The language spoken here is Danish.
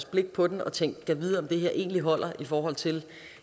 blik på den og tænkt gad vide om det her egentlig holder i forhold til